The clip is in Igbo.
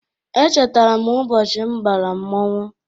Echetara m ụbọchị m bara mmonwu.